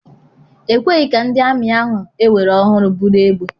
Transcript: Ekweghị ka ndị ami ahụ ewere ọhụụ buru egbe.